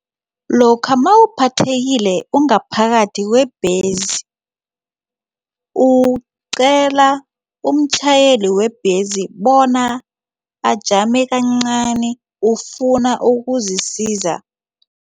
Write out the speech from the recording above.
Lokha mawuphathekile ungaphakathi webhesi uqela umtjhayeli webhesi bona ajame kancani ufuna ukuzisiza.